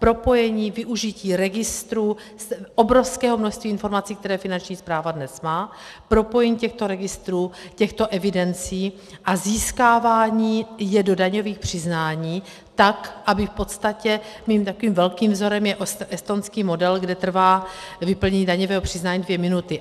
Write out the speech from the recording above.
Propojení, využití registrů, obrovského množství informací, které Finanční správa dnes má, propojení těchto registrů, těchto evidencí a získávání je do daňových přiznání tak, aby v podstatě - mým takovým velkým vzorem je estonský model, kde trvá vyplnění daňového přiznání dvě minuty.